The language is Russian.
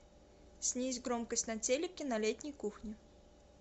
снизь громкость на телике на летней кухне